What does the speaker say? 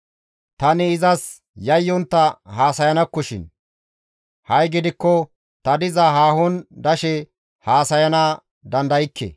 tani izas yayyontta haasayanakkoshin; ha7i gidikko ta diza hanon dashe haasayana dandaykke.